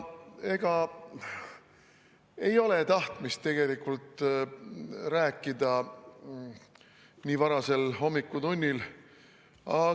Ega ei ole tahtmist tegelikult nii varasel hommikutunnil rääkida.